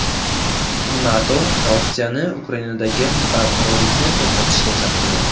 NATO Rossiyani Ukrainadagi beqarorlikni to‘xtatishga chaqirdi.